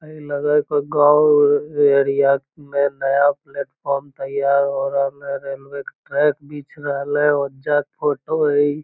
ए लगे है कोई गांव एरिया में नया प्लेटफार्म तैयार हो रहले रेलवे के ट्रैक बिछ रहले ओजा के फोटो है इ।